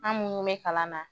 An munnu mɛ kalan na